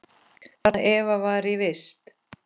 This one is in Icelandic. Þarna Eva var í vist.